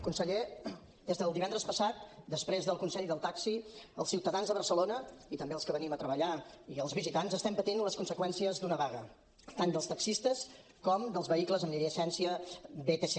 conseller des del divendres passat després del consell del taxi els ciutadans de barcelona i també els que venim a treballar i els visitants estem patint les conseqüències d’una vaga tant dels taxistes com dels vehicles amb llicència vtc